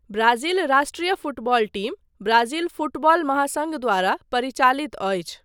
Brazil राष्ट्रिय football team Brazil football महासङ्घ द्वारा परिचालित अछि।